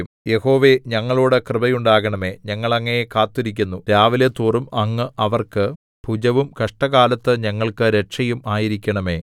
യഹോവേ ഞങ്ങളോടു കൃപയുണ്ടാകണമേ ഞങ്ങൾ അങ്ങയെ കാത്തിരിക്കുന്നു രാവിലെതോറും അങ്ങ് അവർക്ക് ഭുജവും കഷ്ടകാലത്തു ഞങ്ങൾക്കു രക്ഷയും ആയിരിക്കണമേ